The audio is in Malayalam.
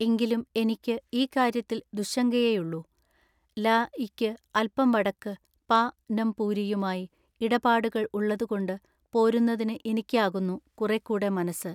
എങ്കിലും എനിക്കു ഈ കാര്യത്തിൽ ദുശ്ശങ്കയെയുള്ളു ല യിക്കു അല്പം വടക്കു പ നംപൂരിയുമായി ഇടപാടുകൾ ഉള്ളതുകൊണ്ടു പോരുന്നതിനു ഇനിക്കാകുന്നു കുറെക്കൂടെ മനസ്സ്.